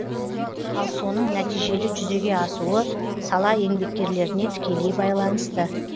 ал соның нәтижелі жүзеге асуы сала еңбеккерлеріне тікелей байланысты